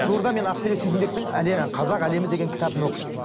жуырда мен ақселеу сейдімбектің қазақ әлемі деген кітабын оқып шықтым